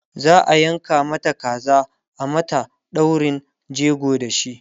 za'a yanka Mata kaza a mata daurin jego da shi